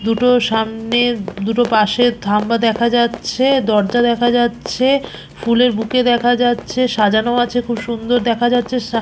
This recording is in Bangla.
দুটো সামনের দুটো পাশের থাম্বা দেখা যাচ্ছে দরজা দেখা যাচ্ছে ফুলের বুকে দেখা যাচ্ছে সাজানো আছে খুব সুন্দর দেখা যাচ্ছে সা--